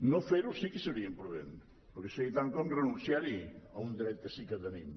no fer ho sí que seria imprudent perquè seria tant com renunciar a un dret que sí que tenim